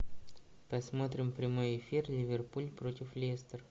посмотрим прямой эфир ливерпуль против лестер